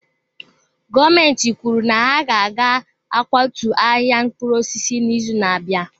Gọọmentị kwuru na ha ga-akwatu ahịa mkpụrụ osisi n'izu na-abịa.